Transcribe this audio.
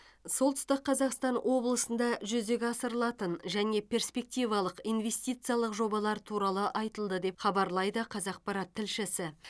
солтүстік қазақстан облысында жүзеге асырылатын және перспективалық инвестициялық жобалар туралы айтылды деп хабарлайды қазақпарат тілшісі